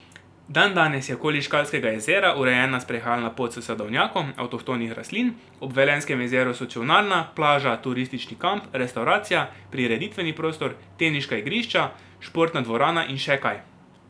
Dandanes je okoli Škalskega jezera urejena sprehajalna pot s sadovnjakom avtohtonih rastlin, ob Velenjskem jezeru so čolnarna, plaža, turistični kamp, restavracija, prireditveni prostor, teniška igrišča, športna dvorana in še kaj.